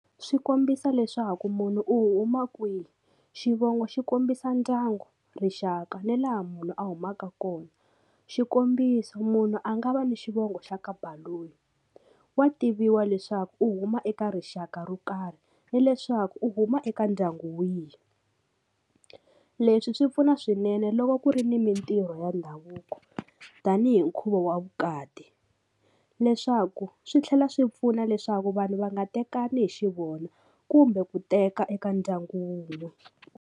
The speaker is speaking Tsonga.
Swi kombisa leswaku munhu u huma kwihi xivongo xi kombisa ndyangu rixaka ni laha munhu a humaka kona xikombiso munhu a nga va ni xivongo xa ka Baloyi wa tiviwa leswaku u huma eka rixaka ro karhi ni leswaku u huma eka ndyangu wihi leswi swi pfuna swinene loko ku ri ni mintirho ya ndhavuko tanihi nkhuvo wa vukati leswaku swi tlhela swi pfuna leswaku vanhu va nga tekana hi xivona kumbe ku teka eka ndyangu.